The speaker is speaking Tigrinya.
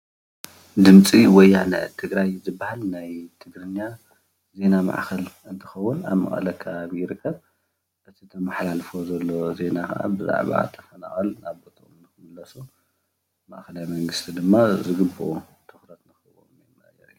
ድምፂ ወያነ ትግራይ ትባሃል ናይ ትግርኛን ዜና ማዕከን እንትከውን ኣብ መቐለ ከባቢ ይርከብ፡፡ እዚ ዘማሓላልፎ ዜና ከዓ ብዛዕባ ተፈናቀል ናብ ቦተኦም ክምለሱ መኣከላይ መንግስቲ ከኣ ትኩረት ክህቦም ይግባእ።